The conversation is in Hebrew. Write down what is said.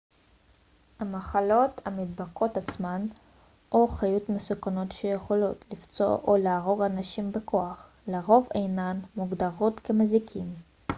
המחלות המידבקות עצמן או חיות מסוכנות שיכולות לפצוע או להרוג אנשים בכוח לרוב אינן מוגדרות כמזיקים